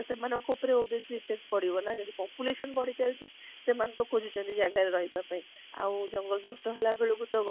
ତ ସେମାନଙ୍କ ଉପରେ ବେଶୀ effect ପାଦୁଇବ ନା ଯଦି population ବଢି ଚାଲିଛି ସେମାନେ ତ ଖୋଜୁ ଛନ୍ତି ଜାଗା ରହିବ ପାଇଁ ଆଉ ଜଙ୍ଗ ନଷ୍ଟ ହେଲା ବେଳକୁ ତ